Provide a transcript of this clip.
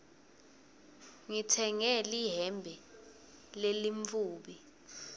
ngitsenge lihembe lelimtfubi